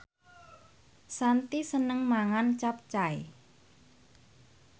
Shanti seneng mangan capcay